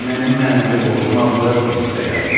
Mənim mənəvi borcum adlı esse yazın.